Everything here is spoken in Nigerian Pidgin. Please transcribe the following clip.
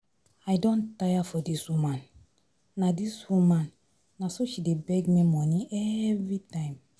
I don tire for dis woman. Na dis woman. Na so she dey beg me money everytime.